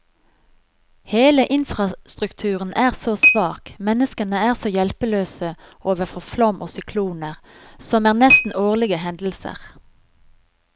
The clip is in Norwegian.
Hele infrastrukturen er så svak, menneskene er så hjelpeløse overfor flom og sykloner, som er nesten årlige hendelser.